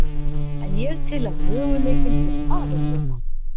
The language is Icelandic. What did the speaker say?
En ég tel að möguleikinn sé farinn núna.